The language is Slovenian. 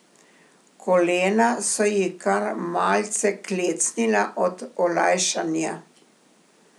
Kolena so ji kar malce klecnila od olajšanja.